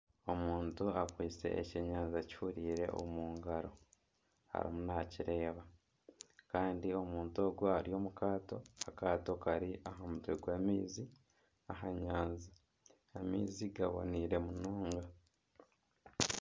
Omuntu akwaiste ekyenyanja kihuriire omu ngaro arimu nakireeba. Kandi omuntu ogwo ari omu kaato. Akaato kari aha mutwe gw'amaizi aha nyanja. Amaizi gaboneire munonga.